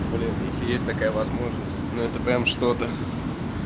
блин если есть такая возможность но это прям что-то